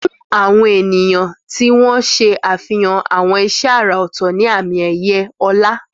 Fún àwọn ènìyàn tí wọ́n ṣe àfihàn àwọn iṣẹ́ àrà ọ̀tọ̀ ní àmì-ẹ̀yẹ ọlá.